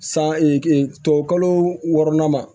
San tubabukalo wɔɔrɔnan ma